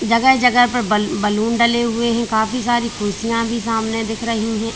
जगह जगह पर बलू बैलून डले हुए हैं काफी सारी कुर्सियां भी सामने दिख रही हैं।